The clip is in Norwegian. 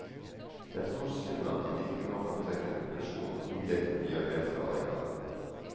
Det er stor synd at man ikke nå kan trekke den konklusjon at piggdekkene gjør mer skade enn gagn.